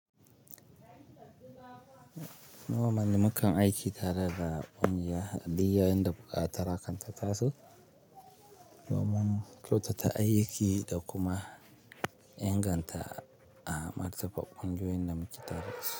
Normally mukan aiki tare da ƙungiya, duk yayinda buƙatar hakan ta tasu. Doman kyautata aiki da kuma inganta a martaba ƙwangoyoyin da muke tare da su.